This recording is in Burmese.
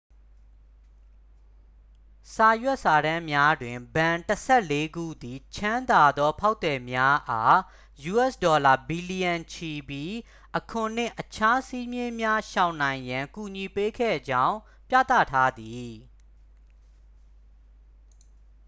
စာရွက်စာတမ်းများတွင် ဘဏ်တစ်ဆယ့်လေးခုသည် ချမ်းသာသော ဖောက်သည်များအား ယူအက်စ်ဒေါ်လာ ဘီလျံချီပြီး အခွန်နှင့် အခြားစည်းမျဉ်းများရှောင်နိုင်ရန် ကူညီပေးခဲ့ကြောင်း ပြသထားသည်